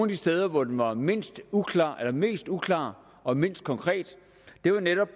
de steder hvor den var mest uklar mest uklar og mindst konkret var netop